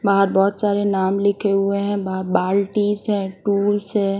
बाहर बहोत सारे नाम लिखे हुए हैं बा बाल्टिस है टूल्स है।